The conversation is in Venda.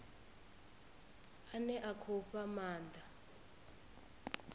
ane a khou fha maanda